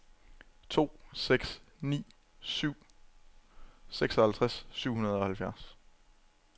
to seks ni syv seksoghalvtreds syv hundrede og halvfjerds